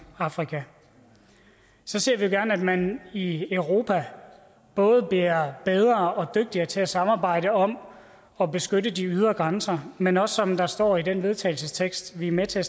afrika så ser vi jo gerne at man i europa både bliver bedre og dygtigere til at samarbejde om at beskytte de ydre grænser men også som der står i til vedtagelse vi er med til at